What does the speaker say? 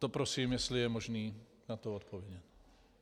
To prosím, jestli je možné na to odpovědět.